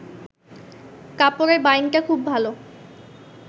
কাপড়ের বাইনটা খুব ভালা